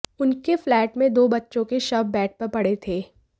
उनके फ्लैट में दो बच्चों के शव बेड पर पड़े थे